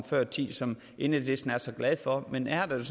før i tiden som enhedslisten er så glad for men her er